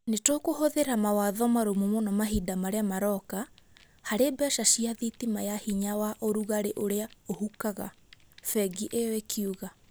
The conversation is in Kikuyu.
Nĩ tũkũhũthĩra mawatho marũmu mũno mahinda marĩa maroka harĩ mbeca cia thitima ya hinya wa ũrugarĩ ũrĩa ũhukaga", bengi ĩyo ĩkiuga.